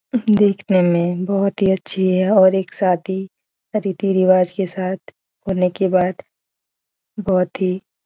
हम्म देखने में बहुत ही अच्छी है और एक साथी रीती रिवाज के साथ होने के बाद बहुत ही --